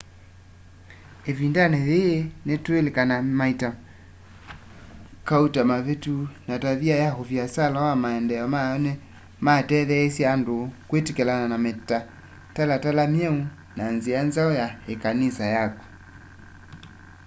ivindani yii tuililikana maita kauta mavitu ma tavia ya uviasala na maendeeo mayo ni mateetheisye andu kwitikilana na mitalatala myeu na nzia nzau ya ikanisa yaku